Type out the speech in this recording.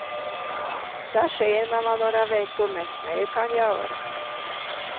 Där ser man vad några veckor med snö kan göra.